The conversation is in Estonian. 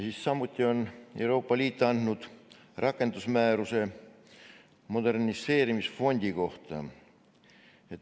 Samuti on Euroopa Liit andnud rakendusmääruse moderniseerimisfondi kohta.